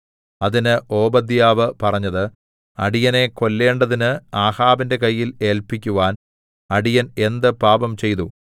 അതിന് ഓബദ്യാവ് പറഞ്ഞത് അടിയനെ കൊല്ലേണ്ടതിന് ആഹാബിന്റെ കയ്യിൽ ഏല്പിക്കുവാൻ അടിയൻ എന്ത് പാപംചെയ്തു